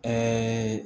Ɛɛ